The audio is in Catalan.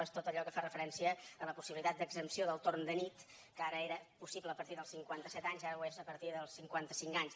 és tot allò que fa referència a la possibilitat d’exempció del torn de nit que fins ara era possible a partir dels cinquanta set anys ara ho és a partir dels cinquanta cinc anys